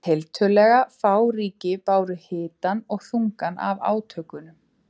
Tiltölulega fá ríki báru hitann og þungann af átökunum.